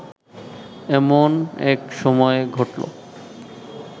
এমন এক সময়ে ঘটল